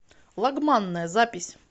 лагманная запись